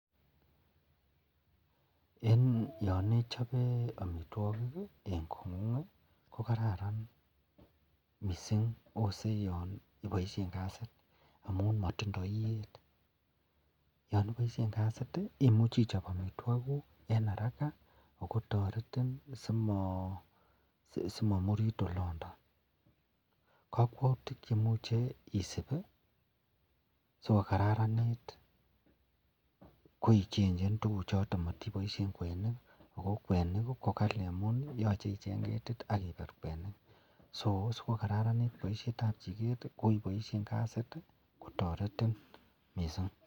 En yanichobe amitwagik en kongung kokararan mising akoyanibaishen kasit amun matindoi iyet akoyanibaishen kasit komuche ichop amitwagik guk en haraka akotaretin simamurit oloton kakwautik cheyache isub sikokararanit koyache ichenchen tuguk choton ak matibaishen kwenik ako kwenik kokali akoyache ichengketit akibet kwenik sikokararanit baishet ab chiket kobaishen kasit kotaretin mising.